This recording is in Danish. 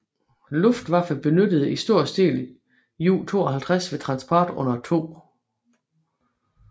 Luftwaffe benyttede i stor stil Ju 52 ved transport under 2